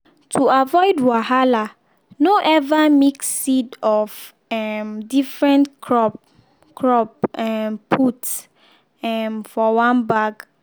to avoid wahala no ever mix seed of um different crop crop um put um for one bag.